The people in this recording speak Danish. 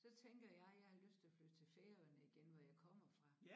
Så tænker jeg jeg har lyst til at flytte til Færøerne igen hvor jeg kommer fra